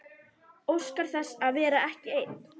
Óskar þess að vera ekki ein.